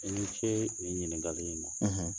I ni ce nin ɲininkali in na